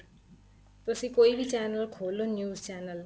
ਤੁਸੀਂ ਕੋਈ ਵੀ channel ਖੋਲ ਲੋ news channel